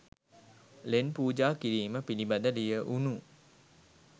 ලෙන් පූජා කිරීම පිළිබඳ ලියැවුනු